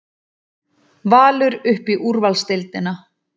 Valur upp í úrvalsdeildina